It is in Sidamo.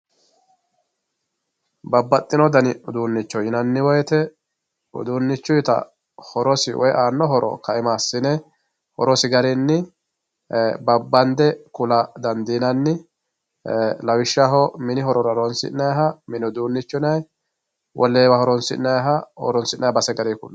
babbaxino dani uduunicho yinanni woyiite udinichuyiita horosi woye aano horo ka"ima assine horosi garinni babbande kula dandiinanni lawishshaho mini horora horonsi'nayiiha mini uduunicho yinay wolewa horonsi'nayiiha horonsi'naye base gari kulay.